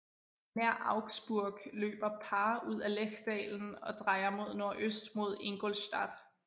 Nær Augsburg løber Paar ud af Lechdalen og drejer mod nordøst mod Ingolstadt